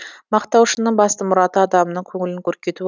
мақтаушының басты мұраты адамның көңілін көркейту